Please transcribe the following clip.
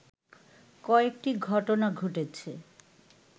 কয়েকটি ঘটনা ঘটেছে